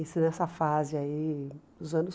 Isso nessa fase aí dos anos